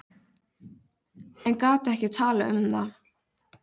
En gat ekki talað um það.